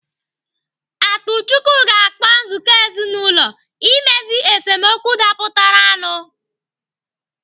Atuchukwu ga-akpọ nzukọ ezinaụlọ imezu esemokwu dapụtara nu